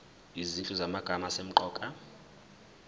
izinhlu zamagama asemqoka